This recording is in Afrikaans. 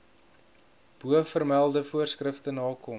bovermelde voorskrifte nakom